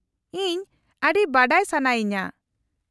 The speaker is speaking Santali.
-ᱤᱧ ᱟᱹᱰᱤ ᱵᱟᱰᱟᱭ ᱥᱟᱱᱟᱭᱤᱧᱟᱹ ᱾